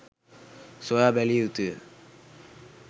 සොයා බැලිය යුතුය.